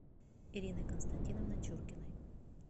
ириной константиновной чуркиной